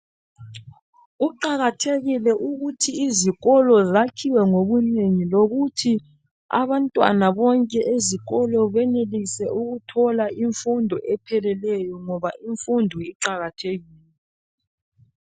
Kuqakathekile ukuthi izikolo zakhiwe ngobunengi lokuthi abantwana bonke ezikolo benelise ukuthola imfundo epheleleyo ngoba imfundo iqakathekile.